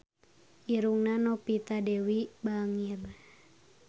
Irungna Novita Dewi bangir